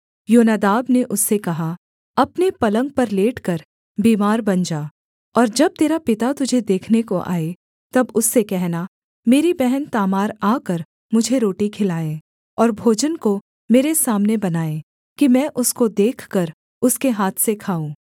योनादाब ने उससे कहा अपने पलंग पर लेटकर बीमार बन जा और जब तेरा पिता तुझे देखने को आए तब उससे कहना मेरी बहन तामार आकर मुझे रोटी खिलाएँ और भोजन को मेरे सामने बनाए कि मैं उसको देखकर उसके हाथ से खाऊँ